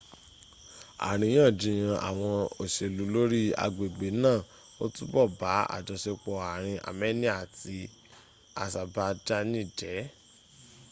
ariyanjiyan awon oselu lori agbegbe naa o tubo ba ajosepo aarin amenia ati asabajani je